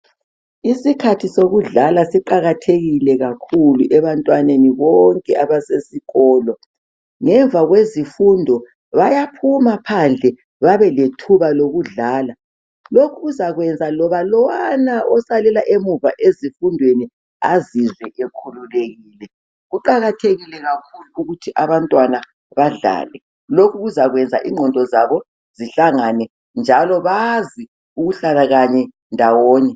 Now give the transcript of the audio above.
isikhathi sokudlala siqakathekile kakhulu ebantwaneni bonke abasesikolo ngemva kwezifundo bayaphuma phandle babe lethuba lokudlala lokhu kuzakwenza loba lwana osalela muva ezifundweni azizwe ekhululekile kuqakathekile kakhulu ukuthi abantwana badlale lokhu kuzakwenza inqondo zabo zihlangane njalo bazi ukuhlala kanye ndawonye